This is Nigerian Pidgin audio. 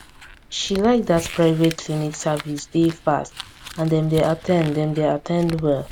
she like that private clinic service dey fast and dem dey at ten d dem dey at ten d well